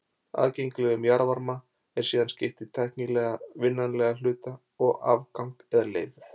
Aðgengilegum jarðvarma er síðan skipt í tæknilega vinnanlegan hluta og afgang eða leifð.